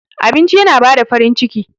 Abinci yana bada farin ciki.